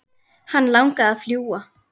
Hann langaði að fljúga.